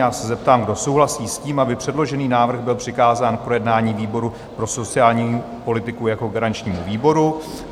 Já se zeptám, kdo souhlasí s tím, aby předložený návrh byl přikázán k projednání výboru pro sociální politiku jako garančnímu výboru.